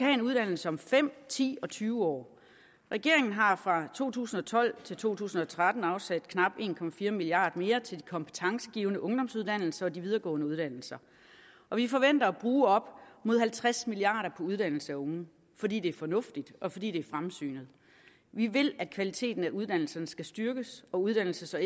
en uddannelse om fem ti og tyve år regeringen har fra to tusind og tolv til to tusind og tretten afsat knap en milliard kroner mere til de kompetencegivende ungdomsuddannelser og de videregående uddannelser og vi forventer at bruge op mod halvtreds milliard kroner på uddannelse af unge fordi det er fornuftigt og fordi det er fremsynet vi vil at kvaliteten af uddannelserne skal styrkes og at uddannelses og